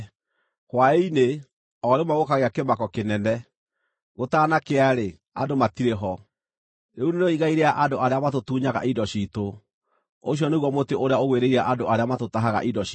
Hwaĩ-inĩ, o rĩmwe gũkagĩa kĩmako kĩnene! Gũtanakĩa-rĩ, andũ matirĩ ho! Rĩu nĩrĩo igai rĩa andũ arĩa matũtunyaga indo ciitũ, ũcio nĩguo mũtĩ ũrĩa ũgwĩrĩire andũ arĩa matũtahaga indo ciitũ.